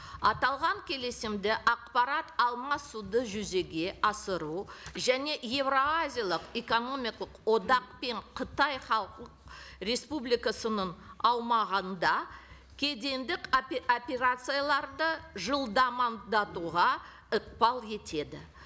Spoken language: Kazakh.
аталған келісімде ақпарат алмасуды жүзеге асыру және еуразиялық экономикалық одақ пен қытай халық республикасының аумағында кедендік операцияларды ықпал етеді